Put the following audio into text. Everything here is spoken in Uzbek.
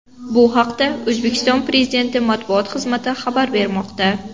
Bu haqda O‘zbekiston Prezidenti matbuot xizmati xabar bermoqda.